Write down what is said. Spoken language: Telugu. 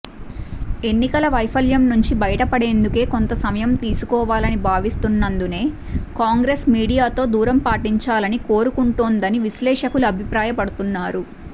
ఎన్నికల వైఫల్యం నుంచి బయటపడేందుకు కొంత సమయం తీసుకోవాలని భావిస్తున్నందునే కాంగ్రెస్ మీడియాతో దూరం పాటించాలని కోరుకుంటోందని విశ్లేషకులు అభిప్రాయపడుతున్నారు